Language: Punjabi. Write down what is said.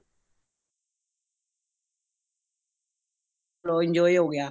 ਲੋ enjoy ਹੋ ਗਯਾ